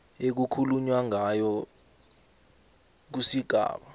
ekukhulunywa ngayo kusigaba